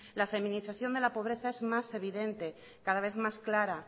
la feminización de la pobreza es más evidente cada vez más clara